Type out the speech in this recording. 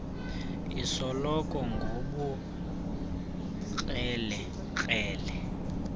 sikolo ngobukrele krele